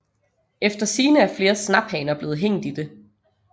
Efter sigende er flere snaphaner blevet hængt i det